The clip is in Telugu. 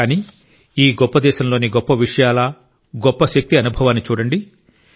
కానీ ఈ గొప్ప దేశం లోని గొప్ప విషయాల గొప్ప శక్తి అనుభవాన్ని చూడండి